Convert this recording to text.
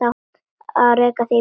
Að reka þig í burtu!